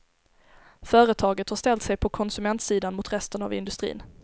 Företaget har ställt sig på konsumentsidan mot resten av industrin.